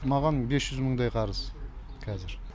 маған бес жүз мыңдай қарыз кәзір